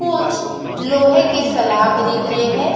कुछ लोहे के सलाख दिख रहे है।